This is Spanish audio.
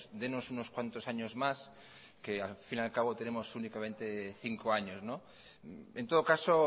dénos unos cuantos años más que al fin y a cabo tenemos únicamente cinco años en todo caso